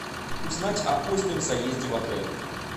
узнать о позднем заезде в отель